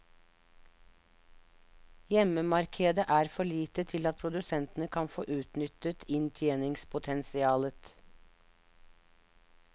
Hjemmemarkedet er for lite til at produsentene kan få utnyttet inntjeningspotensialet.